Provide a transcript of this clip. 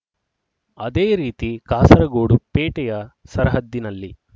ಅದೇ ರೀತಿ ಕಾಸರಗೋಡು ಪೇಟೆಯ ಸರಹದ್ದಿನಲ್ಲಿ